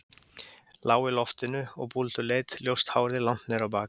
Lág í loftinu og búlduleit, ljóst hárið langt niður á bak.